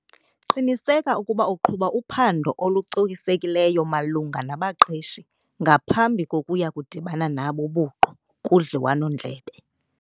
Qiniseka ukuba uqhuba uphando olucokisekileyo malunga nabaqeshi ngaphambi kokuya kudibana nabo buqu kudliwano-ndlebe.